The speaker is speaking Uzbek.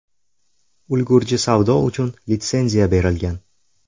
Ulgurji savdo uchun litsenziya berilgan.